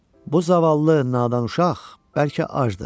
Bu zavallı nadan uşaq bəlkə acdır.